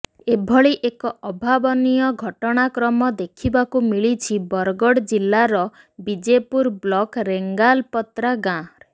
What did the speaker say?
ଏଭଳି ଏକ ଅଭାବନୀୟ ଘଟଣାକ୍ରମ ଦେଖିବାକୁ ମିଳିଛି ବରଗଡ଼ ଜିଲ୍ଲାର ବିଜେପୁର ବ୍ଲକ୍ ରେଙ୍ଗାଲପତ୍ରା ଗାଁରେ